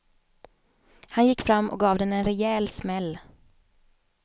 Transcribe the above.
Han gick fram och gav den en rejäl smäll.